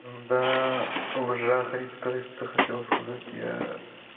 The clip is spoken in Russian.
да уже охрип то есть ты хотела сказать я